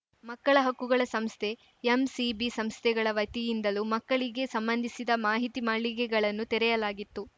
ಮಕ್ಕಳ ಹಕ್ಕುಗಳ ಸಂಸ್ಥೆ ಎಂಸಿಬಿ ಸಂಸ್ಥೆಗಳ ವತಿಯಿಂದಲೂ ಮಕ್ಕಳಿಗೆ ಸಂಬಂಧಿಸಿದ ಮಾಹಿತಿ ಮಳಿಗೆಗಳನ್ನು ತೆರೆಯಲಾಗಿತ್ತು